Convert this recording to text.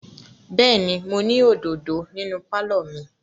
Bẹ́ẹ̀ ni, mo ní òdòdó nínú pálọ̀ mi.